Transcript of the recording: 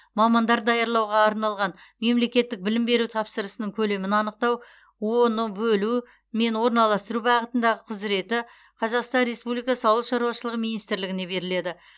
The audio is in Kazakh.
мамандар даярлауға арналған мемлекеттік білім беру тапсырысының көлемін анықтау оны бөлу мен орналастыру бағытындағы құзыреті қазақстан республикасы ауыл шаруашылығы министрлігіне беріледі